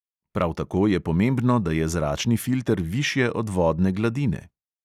Prav tako je pomembno, da je zračni filter višje od vodne gladine.